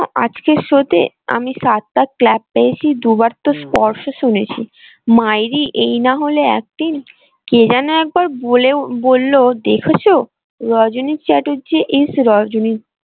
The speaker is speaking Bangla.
আজকের show তে আমি টা clap বার তো স্পষ্ট শুনেছি, মাইরি এই না হলে acting কে যেন একবার বলে বলল দেখেছো রজনী চ্যাটার্জি is রজনী।